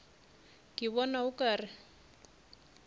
ke bona o ka re